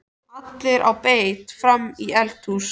ALLIR Á BEIT FRAM Í ELDHÚS!